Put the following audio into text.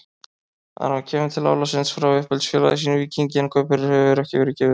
Aron kemur til Álasund frá uppeldisfélagi sínu Víkingi en kaupverðið hefur ekki verið gefið upp.